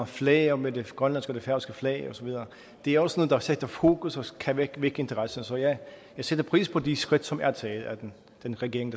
flager med det grønlandske og det færøske flag og så videre det er også noget der sætter et fokus og kan vække interesse så jeg sætter pris på de skridt som er taget af den den regering